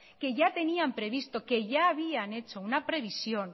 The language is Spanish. que ya tenían previsto que ya habían hecho una previsión